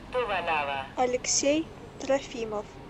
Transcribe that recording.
алексей трофимов